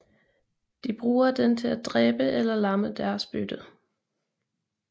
De bruger den til at dræbe eller lamme deres bytte